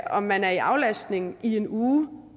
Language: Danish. om man er i aflastning i en uge